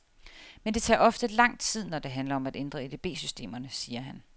Men det tager ofte lang tid, når det handler om at ændre EDB systemerne, siger han.